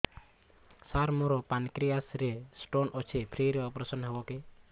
ସାର ମୋର ପାନକ୍ରିଆସ ରେ ସ୍ଟୋନ ଅଛି ଫ୍ରି ରେ ଅପେରସନ ହେବ କି